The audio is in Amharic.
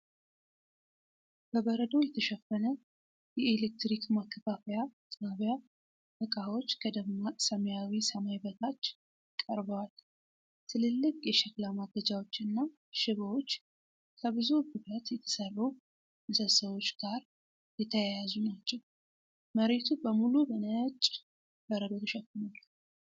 በበረዶ የተሸፈነ የኤሌክትሪክ ማከፋፈያ ጣቢያ እቃዎች ከደማቅ ሰማያዊ ሰማይ በታች ቀርበዋል:: ትልልቅ የሸክላ ማገጃዎችና ሽቦዎች ከብዙ ብረት የተሰሩ ምሰሶዎች ጋር የተያያዙ ናቸው:: መሬቱ በሙሉ በነጭ በረዶ ተሸፍኗል::